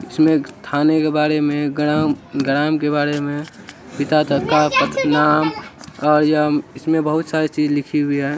इसमे थाने के बारे मे ग्राम-ग्राम के बारे मे पिता का नाम और यह इसमे बहुत सारी चीज लिखी हुई है।